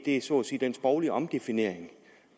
er så at sige den sproglige omdefinering